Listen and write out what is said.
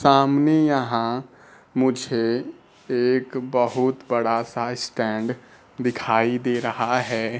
सामने यहां मुझे एक बहुत बड़ा सा स्टैंड दिखाई दे रहा है।